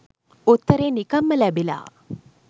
උත්තරේ නිකන්ම ලැබිල